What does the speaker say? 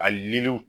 A liliw